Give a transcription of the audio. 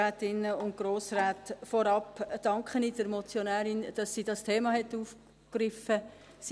Vorab danke ich der Motionärin, dass sie dieses Thema aufgegriffen hat.